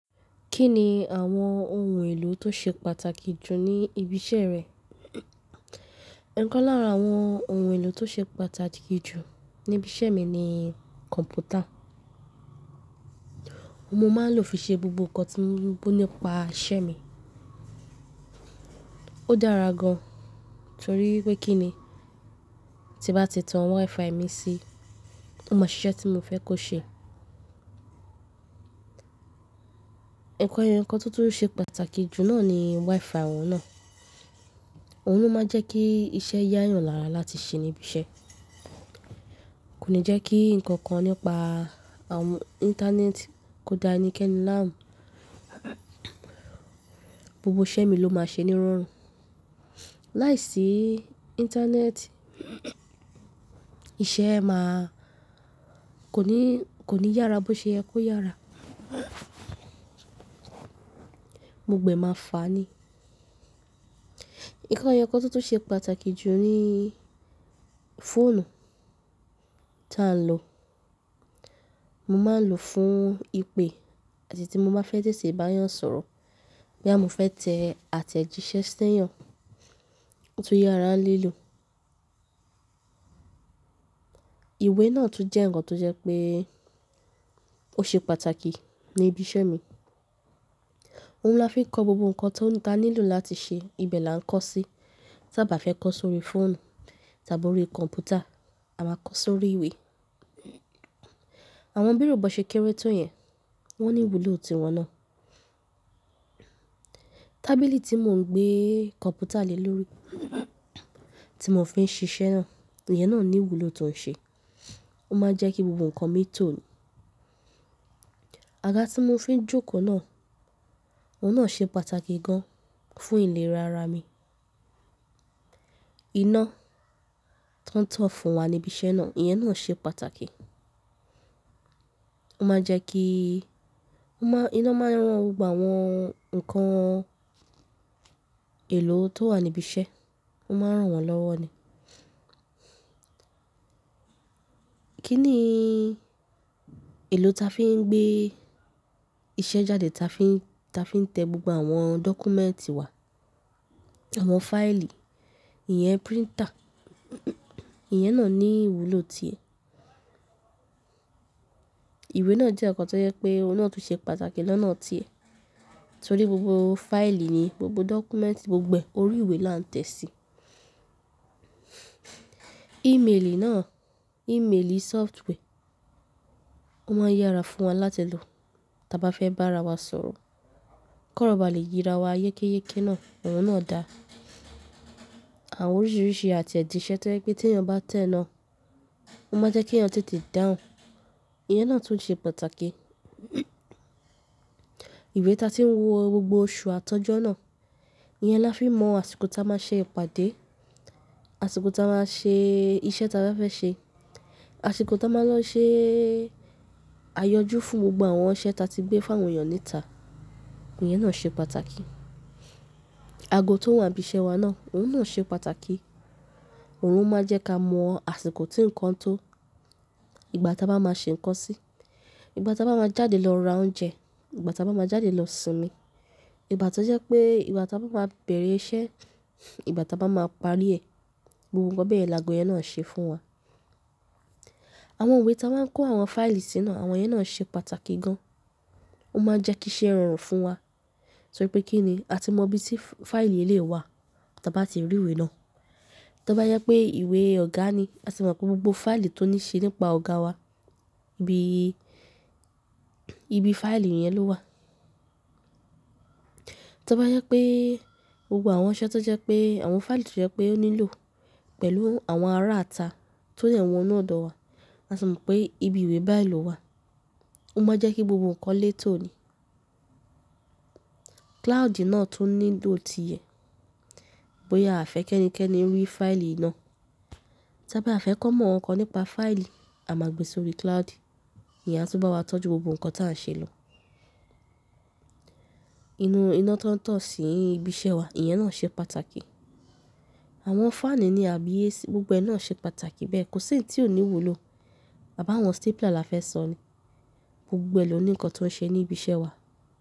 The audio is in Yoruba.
Kí ni àwọn ohun èlò tó ṣe pàtàkì jù ní ibi iṣẹ́ rẹ? Ẹ̀ Ẹ̀kan lára àwọn ohun èlò tó ṣe pàtàkì jù ní ibi iṣẹ́ mi ni kọ̀npútà. Ó máa ń lò fi ṣe gbogbo ǹkan tó ní pa iṣẹ́ mi. Ó dára gan torí pé kíni tí bá ti tan WiFi mi sí, ó mọ iṣẹ́ tí mo fẹ́ kó ṣe. Ẹ̀ Ẹ̀kan ẹ̀ẹ̀kan tó tún ṣe pàtàkì jù náà ni WiFi òun náà. Òun ló máa ń jẹ́ kí iṣẹ́ yá yàn lára láti ṣe níbi iṣẹ́. Kò ní jẹ́ kí ǹkan kan nípa àwọn íńtánẹ́ẹ̀tì kò da ẹnikẹ́ni láàmú, gbogbo iṣẹ́ mi ló máa ṣe ní rọrùn. Láiṣí íńtánẹ́ẹ̀tì, iṣẹ́ máa kò ní, kò ní yára bó ṣe yẹ kó yára. Gbogbo ẹ máa fàá ni. In kan ẹ̀ẹ̀kan tó tún ṣe pàtàkì jù ni fóònù ta ń lò. Mo máa ń lò fún ìpè àti tí mo bá fẹ́ tètè bá èèyàn sọ̀rọ̀, bo ya mo fẹ́ tẹ àtẹ̀jíṣẹ́ sí èèyàn, ó tún yára lílò. Ìwé náà tún jẹ́ ǹkan tó jẹ́ pé ó ṣe pàtàkì ní ibi iṣẹ́ mi. Òun ni a fi ń kọ gbogbo ǹkan tó níta nílò láti ṣe. Ibẹ̀ la ń kọ sí. Tábá fẹ́ kọ sórí fóònù, tàbí ó rí kọ̀npútà, a máa kọ sórí ìwé. Àwọn bírò bó ṣe kéré tó yẹn, wọ́n ní ìwúlò ti wọn náà. Tábìlì tí mò ń gbé kọ̀npútà lé lórí, tí mò ń fi ń ṣiṣẹ́ náà, ìyẹn náà ní ìwúlò tó ń ṣe. Ó máa ń jẹ́ kí gbogbo ǹkan mi tó. Àga tí mò ń fi ń jókòó náà, òun náà ṣe pàtàkì gan fún ìlera ara mi. Iná tọ̀n tọ̀n fún wa ní ibi iṣẹ́ náà, ìyẹn náà ṣe pàtàkì. Ó máa ń jẹ́ kí Ó máa, iná máa ń rán gbogbo àwọn ǹkan èlò tó wà níbi iṣẹ́, ó máa ń ràn wọ́n lọ́wọ́ ni. Kí ni èlò ta fi ń gbé iṣẹ́ jáde, ta fi ń, ta fi ń tẹ gbogbo àwọn dọ́kúmẹ́ǹtì wa, àwọn fáìlì, ìyẹn píríntà, ìyẹn náà ní ìwúlò ti ẹ̀. Ìwé náà jẹ́ ǹkan tó jẹ́ pé òun náà tún ṣe pàtàkì lọ́nà ti ẹ̀ torí gbogbo fáìlì ni, gbogbo dọ́kúmẹ́ǹtì, gbogbo orí ìwé la ń tẹ̀ sí. Ìmélì náà, ìmélì sófútwẹ́, ó máa ń yára fún wa láti lò. Tábá fẹ́ bá ara wa sọ̀rọ̀, kó rọba lè yíra wa yékéyéké náà, òun náà da. Àwọn oríṣìíríṣìí àtẹ̀jíṣẹ́ tó jẹ́ pé tí èèyàn bá tẹ̀ ẹ́ náà, ó máa jẹ́ kí èèyàn tètè dáhùn, ìyẹn náà tún ṣe pàtàkì. Ìwé ta ti ń wo gbogbo oṣù àtọ́jọ́ náà, ìyẹn la fi mọ àsìkò táa máa ṣe ìpàdé, àsìkò táa máa ṣe iṣẹ́ táa bá fẹ́ ṣe, àsìkò táa máa lọ ṣe ayọjú fún gbogbo àwọn iṣẹ́ ta ti gbé fún àwọn èèyàn níta, ìyẹn náà ṣe pàtàkì. Ago tó wà níbi iṣẹ́ wa náà, òun náà ṣe pàtàkì. Òun ló máa ń jẹ́ ká mọ àsìkò tí ǹkan tó, ìgbà táa bá máa ṣe ǹkan sí, ìgbà táa bá máa jáde lọ ra oúnjẹ, ìgbà táa bá máa jáde lọ sinmí, ìgbà tó jẹ́ pé ìgbà táa bá máa bẹ̀rẹ̀ iṣẹ́, ìgbà táa bá máa parí ẹ̀. Gbogbo bẹ́ẹ̀ la ago yẹn náà ń ṣe fún wa. Àwọn ìwé ta wá ń kó àwọn fáìlì sínú náà, àwọn yẹn náà ṣe pàtàkì gan. Ó máa ń jẹ́ kí iṣẹ́ rọrùn fún wa torí pé kíni a ti mọ ibi tí fáìlì yìí lè wà táa bá ti rí ìwé náà. Tábá jẹ pé ìwé ọ̀gá ni, a ti mọ̀ pé gbogbo fáìlì tó ní ṣe nípa ọ̀gá wa ibi, ibi fáìlì yẹn ló wà. Tobá jẹ pé gbogbo àwọn iṣẹ́ tó jẹ́ pé àwọn fáìlì tó jẹ́ pé ó nílò pẹ̀lú àwọn ará ata tó dẹ wọ̀nú ọ̀dọ̀ wa, a ti mọ̀ pé ibi ìwé báyìí ló wà. Ó máa ń jẹ́ kí gbogbo ǹkan lé tó ni. Kláàdì náà tún nílò ti ẹ̀ bóyá a fẹ́ ẹnikẹ́ni rí fáìlì náà. Tábá a fẹ́ kọ́ mọ́ ǹkan nípa fáìlì, a máa gbé sórí klààdì. Ìyẹn á túbọ̀ wá tọ́jú gbogbo ǹkan táa ń ṣe lọ. Inú iná tọ̀n tọ̀n sí ibi iṣẹ́ wa, ìyẹn náà ṣe pàtàkì. Àwọn fáànù ni àbí AC, gbogbo ẹ náà ṣe pàtàkì bẹ́ẹ̀. Kò sí ǹkan tí ò ní ìwúlò. Àbá wọn stépìlà la fẹ́ sọ ni. Gbogbo ẹ ló ní ǹkan tó ń ṣe ní ibi iṣẹ́ wa.